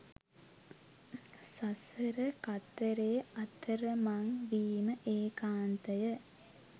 සසර කතරේ අතරමං වීම ඒකාන්තය